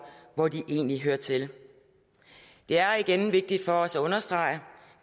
hvor de egentlig hører til det er igen vigtigt for os at understrege at